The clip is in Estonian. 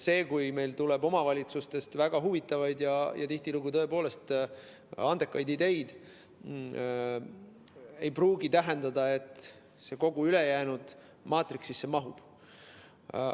Kui omavalitsustest tuleb väga huvitavaid ja tihtilugu tõepoolest andekaid ideid, siis see ei pruugi tähendada, et need kogu ülejäänud maatriksisse mahuvad.